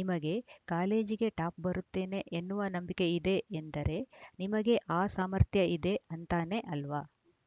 ನಿಮಗೆ ಕಾಲೇಜಿಗೆ ಟಾಪ್‌ ಬರುತ್ತೇನೆ ಎನ್ನುವ ನಂಬಿಕೆ ಇದೆ ಎಂದರೆ ನಿಮಗೆ ಆ ಸಾಮರ್ಥ್ಯ ಇದೆ ಅಂತಾನೇ ಅಲ್ವ